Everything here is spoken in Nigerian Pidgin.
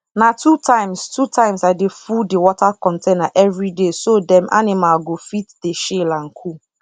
na two times two times i dey full the water container every dayso dem animal go fit dey chill and cool